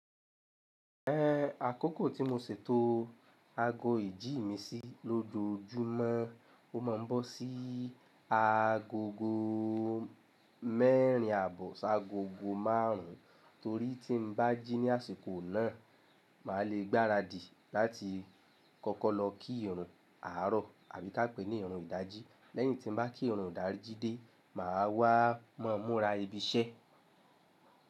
Ẹ àkókò tí mo ṣètò ago ìjí mi sí lójoójúmọ́, o má a ń bọ́ sí agogo mẹ́rin àbọ̀ sáagogo márùn ún, torí tí n bá jí ní àsìkò náà, màá le gbaradì láti kọ́kọ́ lọ kí ìran àárọ̀ àbí ká pè é ní ìran ìdají. Lẹ́yìn tí n bá kí ìran ìdají dé, màá wá mọ́mú ra ibi iṣẹ́.